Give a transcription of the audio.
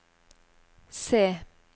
C